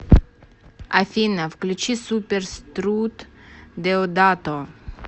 афина включи супер струт деодато